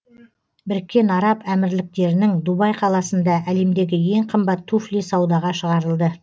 біріккен араб әмірліктерінің дубай қаласында әлемдегі ең қымбат туфли саудаға шығарылды